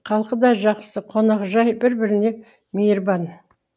халқы да жақсы қонақжай бір біріне мейірбан